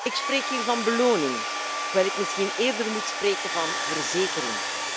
Ik spreek hier van beloning, waar ik misschien eerder moet spreken van verzekering.